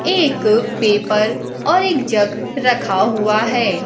एक पेपर और एक जग रखा हुआ है।